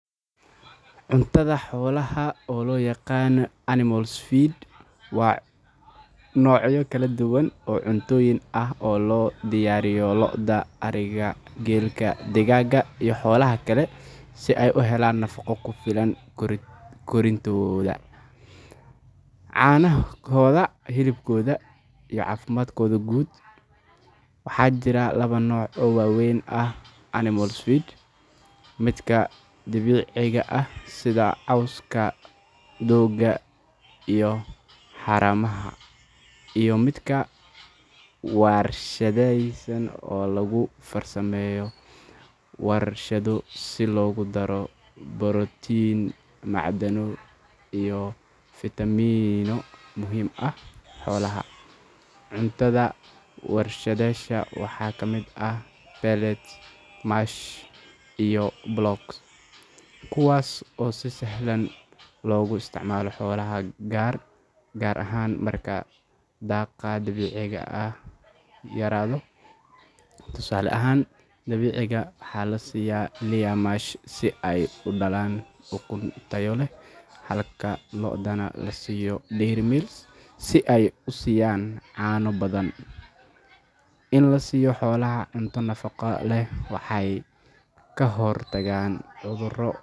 Cuntada xoolaha, oo loo yaqaan animal feeds, waa noocyo kala duwan oo cuntooyin ah oo loo diyaariyo lo’da, ariga, geela, digaagga, iyo xoolaha kale si ay u helaan nafaqo ku filan korriinkooda, caanahooda, hilibkooda iyo caafimaadkooda guud. Waxaa jira laba nooc oo waaweyn oo ah animal feeds: midka dabiiciga ah sida cawska, doogga, iyo haramaha, iyo midka warshadaysan oo lagu farsameeyo warshado si loogu daro borotiin, macdano, iyo fitamiinno muhiim u ah xoolaha. Cuntada warshadaysan waxaa ka mid ah pellets, mash, iyo blocks, kuwaas oo si sahlan loogu isticmaalo xoolaha gaar ahaan marka daaqa dabiiciga ah yaraado. Tusaale ahaan, digaagga waxaa la siiyaa layer mash si ay u dhalaan ukun tayo leh halka lo'dana la siiyo dairy meal si ay u siiyaan caano badan. In la siiyo xoolaha cunto nafaqo leh waxay ka hortagtaa cudurro.